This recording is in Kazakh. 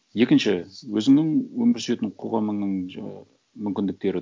екінші өзіңнің өмір сүретін қоғамыңның жаңағы мүмкіндіктері